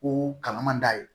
Ko kalan man d'a ye